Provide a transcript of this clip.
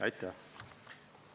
Aitäh!